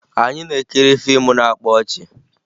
Anyị na-ekiri fiimu na-akpa ọchị